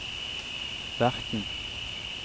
verten